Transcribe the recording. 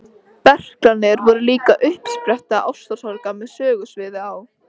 Berklarnir voru líka uppspretta ástarsorga með sögusviði á